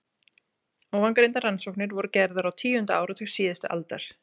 Ofangreindar rannsóknir voru gerðar á tíunda áratug síðustu aldar.